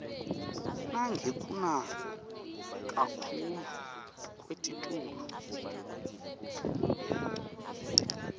nangekuna kakhuclu kwelitulu